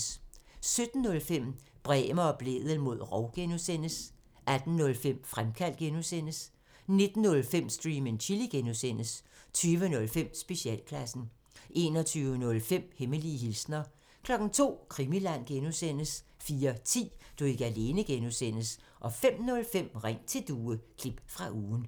17:05: Bremer og Blædel mod rov (G) 18:05: Fremkaldt (G) 19:05: Stream and Chill (G) 20:05: Specialklassen 21:05: Hemmelige hilsner 02:00: Krimiland (G) 04:10: Du er ikke alene (G) 05:05: Ring til Due – klip fra ugen